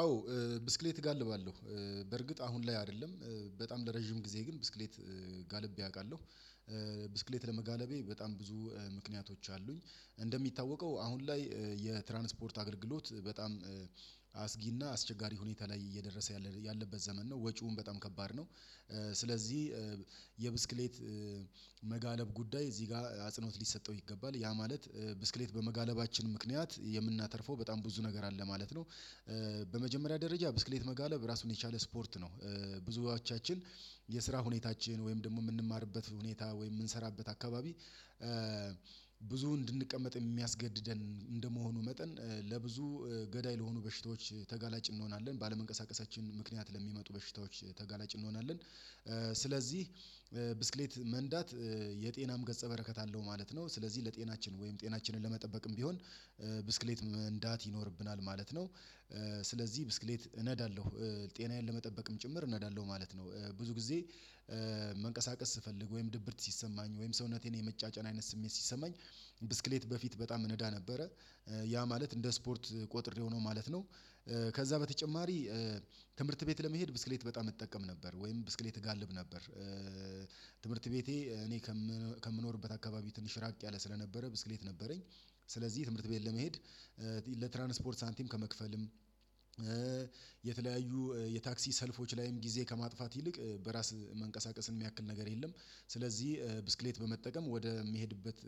አዎ ብስክሌት እጋልባለሁ በርግጥ አሁን ላይ አይደለም። በጣም ለረጅም ጊዜ ግን ብስክሌት ጋልቤ አውቃለሁ። ብስክሌት ለመጋለቤ በጣም ብዙ ምክንያቶች አሉኝ። እንደሚታወቀው አሁን ላይ የትራንስፖርት አገልግሎት በጣም አስጊና አስቸጋሪ ሁኔታ ላይ እየደረሰ ያለበት ዘመን ነው ወጪውን በጣም ከባድ ነው ስለዚህ የብስክሌት መጋለብ ጉዳይ እዚህ ጋር አጽኖት ሊሰጠው ይገባል ያ ማለት ብስክሌት በመጋለባችን ምክንያት የምናተርፈው በጣም ብዙ ነገር አለ ማለት ነው። በመጀመሪያ ደረጃ ብስክሌት መጋለብ ራሱን የቻለ ስፖርት ነው። ብዙዎቻችን የስራ ሁኔታችን ወይም ደግሞ የምንማርበት ሁኔታ ወይም የምንሰራበት አካባቢ ብዙ እንድንቀመጥ የሚያስገድደን እንደመሆኑ መጠን ለብዙ ገዳይ ለሆኑ በሽታዎች ተጋላጭ እንሆናለን ባለመንቀሳቀሳችን ምክንያት ለሚመጡ በሽታዎች ተጋላጭ እንሆናለን ስለዚህ ብስክሌት መንዳት የጤናም ገጸ በረከት አለው ማለት ነው። ስለዚህ ለጤናችን ወይም ጤናችንን ለመጠበቅም ቢሆን ብስክሌት መንዳት ይኖርብናል። ማለት ነው። ስለዚህ ብስክሌት እነዳለሁ ጤናዬን ለመጠበቅም ጭምር እነዳለሁ ማለት ነው። ብዙ መንቀሳቀስ ስፈልግ፤ ወይም ድብርት ሲሰማኝ ወይም ሰውነቴን የመጫጫን አይነት ስሜት ሲሰማኝ ብስክሌት በፊት በጣም እነዳ ነበረ ያ ማለት እንደ ስፖርት ቆጥሬው ሆኖ ማለት ነው ከዛ በተጨማሪ ትምህርት ቤት ለመሄድ ብስክሌት በጣም እጠቀም ነበር። ወይም ብስክሌት እጋልብ ነበር። ትምህርት ቤቴ እኔ ከምኖርበት አካባቢ ትንሽ ራቅ ያለ ስለነበረ፤ ብስክሌት ነበረኝ ስለዚህ ትምህርት ቤት ለመሄድ ለትራንስፖርት ሳንቲም ከመክፈልም የተለያዩ የታክሲ ሰልፎች ላይም ጊዜ ከማጥፋት ይልቅ በራስ መንቀሳቀስን የሚያክል ነገር የለም ስለዚህ ብስክሌት በመጠቀም ወደ ሚሄድበት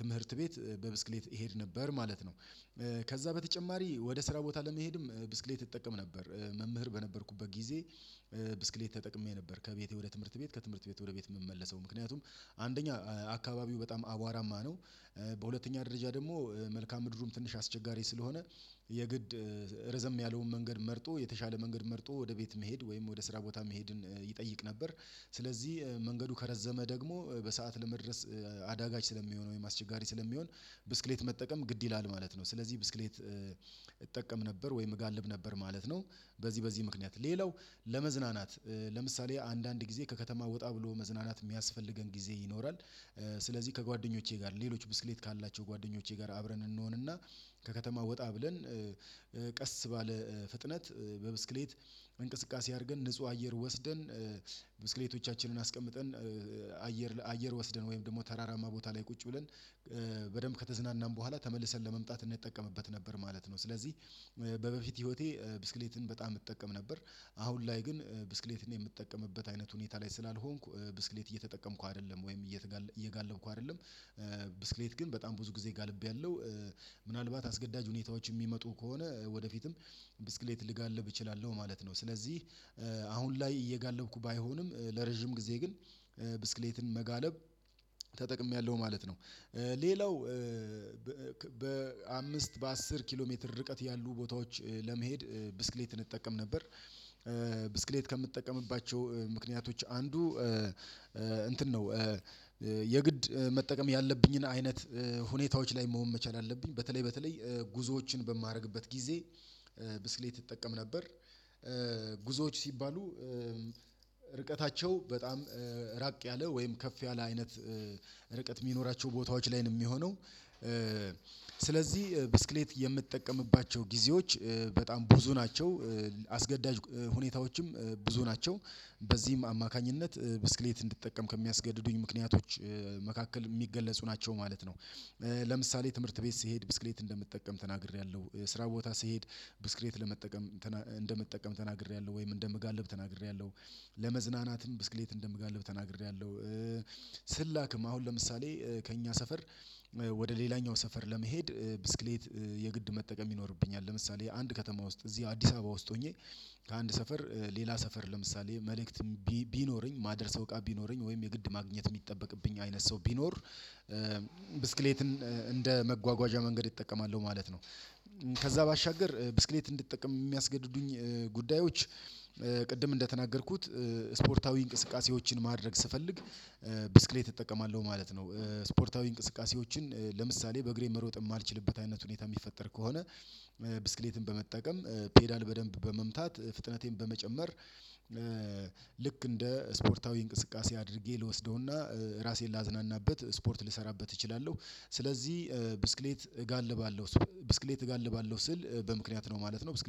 ትምህርት ቤት በብስክሌት እሄድ ነበር ማለት ነው። ከዛ በተጨማሪ ወደ ስራ ቦታ ለመሄድም ብስክሌት እጠቀም ነበር። መምህር በነበርኩበት ጊዜ ብስክሌት ተጠቅሜ ነበር ከቤቴ ወደ ትምህርት ቤት ከትምህርት ቤት ወደ ቤት የምመለሰው ምክንያቱም አንደኛ አካባቢው በጣም አቧራማ ነው። በሁለተኛ ደረጃ ደግሞ መልካም ምድሩም ትንሽ አስቸጋሪ ስለሆነ የግድ ርዘም ያለውን መንገድ መርጦ የተሻለ መንገድ መርጦ ወደ ቤት መሄድ ወይም ወደ ስራ ቦታ መሄድን ይጠይቅ ነበር። ስለዚህ መንገዱ ከረዘመ ደግሞ በሰአት ለመድረስ አዳጋች ስለሚሆን ወይም አስቸጋሪ ስለሚሆን ብስክሌት መጠቀም ግድ ይላል ማለት ነው። ስለዚህ ብስክሌት እጠቀም ነበር ወይም እጋልብ ነበር ማለት ነው። በዚህ በዚህ ምክንያት ሌላው ለመዝናናት ለምሳሌ አንዳንድ ጊዜ ከከተማ ወጣ ብሎ መዝናናት የሚያስፈልገን ጊዜ ይኖራል ስለዚህ ከጓደኞቼ ጋር ሌሎች ብስክሌት ካላቸው ጓደኞቼ ጋር አብረን እንሆንና ከከተማ ወጣ ብለን ቀስ ባለ ፍጥነት በብስክሌት እንቅስቃሴ አድርገን ንጹህ አየር ወስደን ብስክሌቶቻችንን አስቀምጠን አየር አየር ወስደን ወይም ደግሞ ተራራማ ቦታ ላይ ቁጭ ብለን በደንብ ከተዝናናን በኋላ ተመልሰን ለመምጣት እንድንጠቀምበት ነበር። ማለት ነው ስለዚህ በበፊት ህይወቴ ብስክሌትን በጣም እጠቀም ነበር። አሁን ላይ ግን ብስክሌትን የምትጠቀምበት አይነት ሁኔታ ላይ ስላልሆንኩ ብስክሌት እየተጠቀምኩ አይደለም ወይም እየተጋለብኩ አይደለም ብስክሌት ግን በጣም ብዙ ጊዜ ጋልቤያለሁ። ምናልባት አስገዳጅ ሁኔታዎች የሚመጡ ከሆነ ወደፊትም ብስክሌት ልጋልብ እችላለሁ ማለት ነው ስለዚህ አሁን ላይ እየጋለብኩ ባይሆንም ለረጅም ጊዜ ግን ብስክሌትን መጋለብ ተጠቅሜያለሁ ማለት ነው። ሌላው በአምስት በአስር ኪሎ ሜትር ርቀት ያሉ ቦታዎች ለመሄድ ብስክሌትን እጠቀም ነበር። ብስክሌት ከምጠቀምባቸው ምክንያቶች አንዱ እንትን ነው። የግድ መጠቀም ያለብኝን አይነት ሁኔታዎች ላይ መሆን መቻል አለብኝ በተለይ በተለይ ጉዞዎችን በማደርግበት ጊዜ ብስሌት ይጠቀም ነበር። ጉዞዎች ሲባሉ ርቀታቸው በጣም ራቅ ያለ ወይም ከፍ ያለ አይነት ርቀት የሚኖራቸው ቦታዎች ላይ ነው የሚሆነው ስለዚህ ብስክሌት የምጠቀምባቸው ጊዜዎች በጣም ብዙ ናቸው። አስገዳጅ ሁኔታዎችም ብዙ ናቸው በዚህም አማካኝነት ብስክሌት እንዲጠቀም ከሚያስገድዱኝ ምክንያቶች መካከል የሚገለጹ ናቸው ማለት ነው። ለምሳሌ ትምህርት ቤት ስሄድ ብስክሌት እንደምትጠቀም ተናግሬያለሁ። ስራ ቦታ ስሄድ ብስክሬት ለመጠቀም እንደመጠቀም ተናግሬያለሁ ወይም እንደምጋልብ ተናግሬያለሁ። ለመዝናናትም ብስክሌት እንደምጋልብ ተናግሬያለሁ። ስላክም አሁን ለምሳሌ ከእኛ ሰፈር ወደ ሌላኛው ሰፈር ለመሄድ ብስክሌት የግድ መጠቀም ይኖርብኛል። ለምሳሌ አንድ ከተማ ውስጥ እዚህ አዲስ አበባ ውስጥ ሆኜ ከአንድ ሰፈር ሌላ ሰፈር ለምሳሌ መልእክት ቢኖረኝ ማደርሰው እቃ ቢኖረኝ ወይም የግድ ማግኘት የሚጠበቅብኝ አይነት ሰው ቢኖር ብስክሌትን እንደ መጓጓዣ መንገድ እጠቀማለሁ ማለት ነው። ከዛ ባሻገር ብስክሌት እንድጠቀም የሚያስገድዱኝ ጉዳዮች ቅድም እንደተናገርኩት ስፖርታዊ እንቅስቃሴዎችን ማድረግ ስፈልግ እጠቀማለሁ ማለት ነው ስፖርታዊ እንቅስቃሴዎችን ለምሳሌ በእግሬ መሮጥ የማልችልበት አይነት ሁኔታ የሚፈጠር ከሆነ ብስክሌትን በመጠቀም ፔዳል በደንብ በመምታት ፍጥነቴን በመጨመር ልክ እንደ ስፖርታዊ እንቅስቃሴ አድርጌ ልወስደውና ራሴን ላዝናናበት ስፖርት ልሰራበት እችላለሁ። ስለዚህ ብስክሌት እጋልባለሁ ብስክሌት እጋልባለሁ ስል በምክንያት ነው ማለት ነው። ብስክሌት